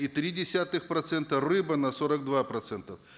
и три десятых процента рыба на сорок два процента